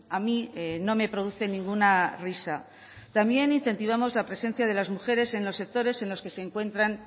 a mí no me produce ninguna risa también incentivamos la presencia de las mujeres en los sectores en los que encuentran